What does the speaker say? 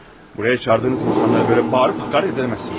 Buraya çağırdığınız insanlara böyle bağırıp hakaret edəmezsiniz.